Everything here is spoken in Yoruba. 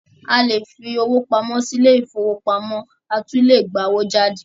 A lè fi owó pamọ́ sí ilé-ìfowópamọ́sí a tún lè gba owó jáde.